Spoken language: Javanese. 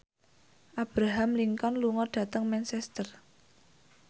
Abraham Lincoln lunga dhateng Manchester